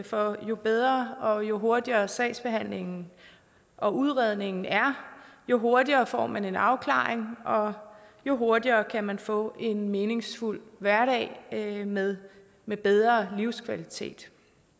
for jo bedre og jo hurtigere sagsbehandlingen og udredningen er jo hurtigere får man en afklaring og jo hurtigere kan man få en meningsfuld hverdag med med bedre livskvalitet